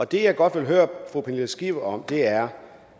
det jeg godt vil høre fru pernille skipper om er